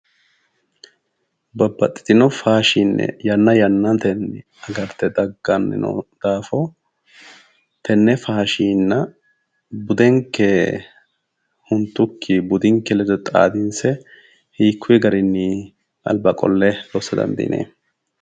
Babbaxxino faashine yanna yannatenni agarte dagganni noo daafo tenne faashiinna budenke huntukki budinke ledo xaadinse hiikkuyi garinni alba qolle lossa dandiineemmo?